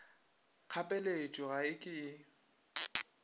kgapeletšo ga e ke e